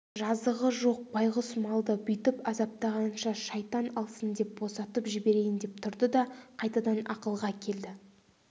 жазығы жоқ байғұс малды бүйтіп азаптағанша шайтан алсын деп босатып жіберейін деп тұрды да қайтадан ақылға келді